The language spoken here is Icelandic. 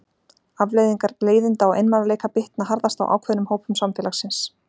Afleiðingar leiðinda og einmanaleika bitna harðast á ákveðnum hópum samfélagsins.